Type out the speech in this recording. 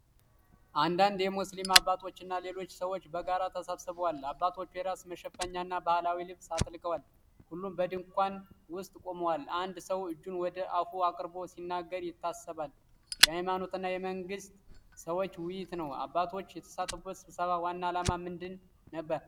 አንዳንድ ሙስሊም አባቶችና ሌሎች ሰዎች በጋራ ተሰብስበዋል። አባቶቹ የራስ መሸፈኛና ባህላዊ ልብስ አጥልቀዋል። ሁሉም በድንኳን ውስጥ ቆመዋል። አንድ ሰው እጁን ወደ አፉ አቅርቦ ሲናገር ይታሰባል። የሃይማኖትና የመንግሥት ሰዎች ውይይት ነው። አባቶቹ የተሳተፉበት ስብሰባ ዋና ዓላማ ምን ነበር?